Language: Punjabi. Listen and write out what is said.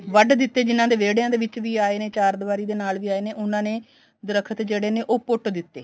ਵੱਡ ਦਿੱਤੇ ਜਿਹਨਾ ਦੇ ਵਿਹੜਿਆ ਦੇ ਵਿੱਚ ਵੀ ਆਏ ਨੇ ਚਾਰ ਦਵਾਰੀ ਦੇ ਨਾਲ ਵੀ ਆਏ ਨੇ ਉਹਨਾ ਨੇ ਦਰੱਖਤ ਜਿਹੜੇ ਨੇ ਪੁੱਟ ਦਿੱਤੇ